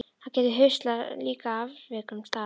Hann gæti huslað líkin á afviknum stað.